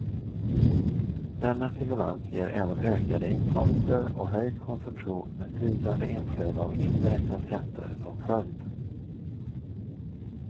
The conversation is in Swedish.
Denna stimulans ger även ökade inkomster och höjd konsumtion med stigande inflöde av indirekta skatter som följd.